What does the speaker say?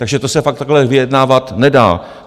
Takže to se fakt takhle vyjednávat nedá.